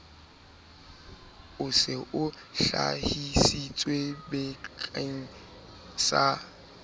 o se o hlahisitswebakeng sa